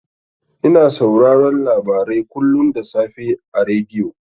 Ina sauraron labarai kullun da safe a rediyo.